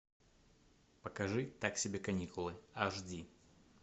покажи так себе каникулы аш ди